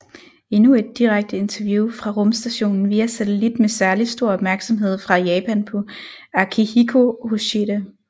Endnu et direkte interview fra rumstationen via satellit med særlig stor opmærksomhed fra Japan på Akihiko Hoshide